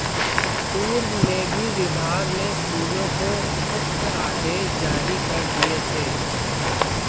पूर्व में भी विभाग ने स्कूलों को उक्त आदेश जारी कर दिए थे